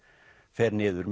fer niður